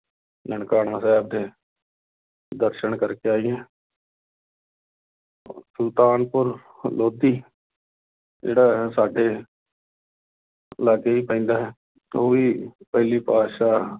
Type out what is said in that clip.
ਨਨਕਾਣਾ ਸਾਹਿਬ ਦੇ ਦਰਸਨ ਕਰਕੇ ਆਈਏ ਸੁਲਤਾਨਪੁਰ ਲੋਧੀ ਜਿਹੜਾ ਹੈ ਸਾਡੇ ਲਾਗੇ ਹੀ ਪੈਂਦਾ ਹੈ ਉਹ ਵੀ ਪਹਿਲੀ ਪਾਤਿਸ਼ਾਹ